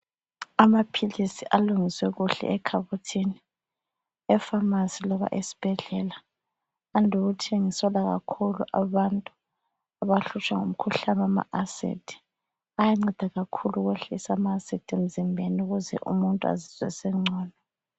Amaphilisi alungiswe kuhle ekhabothini, ePharmacy loba esibhedlela. Ande ukuthengiselwa kakhulu abantu abahlutshwa ngumkhuhlane wama acid. Ayanceda kakhulu ukwehlisa ama acid emzimbeni ukuze umuntu azizwe esengcono.